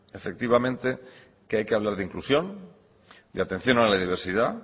efectivamente que hay que hablar de inclusión de atención a la diversidad